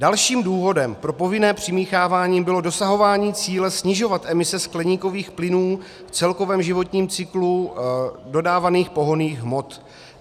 Dalším důvodem pro povinné přimíchávání bylo dosahování cíle snižovat emise skleníkových plynů v celkovém životním cyklu dodávaných pohonných hmot.